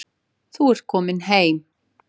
Þú ert komin heim.